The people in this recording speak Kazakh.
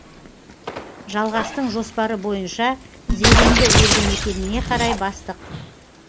жалғастың жоспары бойынша зеренді елді мекеніне қарай бастық